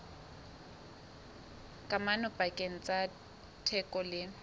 kamano pakeng tsa theko le